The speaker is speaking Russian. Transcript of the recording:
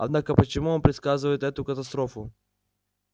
однако почему он предсказывает эту катастрофу